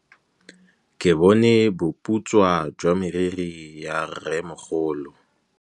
Ke bone boputswa jwa meriri ya rrêmogolo.